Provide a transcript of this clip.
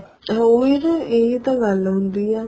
ਉਹੀ ਤਾਂ ਇਹੀ ਤਾਂ ਗੱਲ ਹੁੰਦੀ ਏ